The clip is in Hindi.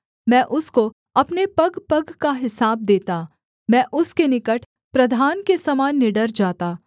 मैं उसको अपने पगपग का हिसाब देता मैं उसके निकट प्रधान के समान निडर जाता